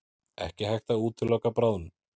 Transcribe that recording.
Ekki hægt að útiloka bráðnun